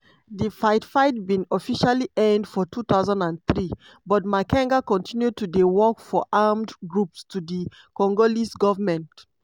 di fight-fight bin officially end for 2003 but makenga continue to dey work for armed groups to di congolese goment.